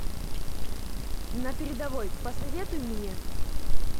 на передовой посоветуй мне